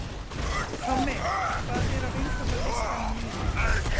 Tommi, hvað er á innkaupalistanum mínum?